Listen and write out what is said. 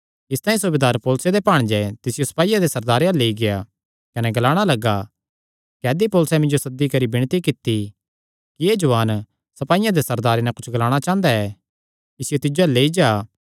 इसतांई सूबेदार पौलुसे दे भांणजे तिसियो सपाईयां दे सरदारे अल्ल लेई गेआ कने ग्लाणा लग्गा कैदी पौलुसैं मिन्जो सद्दी करी विणती कित्ती कि एह़ जुआन सपाईयां दे सरदारे नैं कुच्छ ग्लाणा चांह़दा ऐ इसियो तिस अल्ल लेई जा